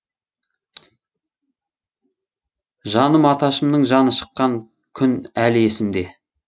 жаным аташымның жаны шыққан күн әлі есімде